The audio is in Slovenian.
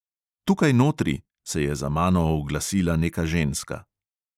"Tukaj notri," se je za mano oglasila neka ženska.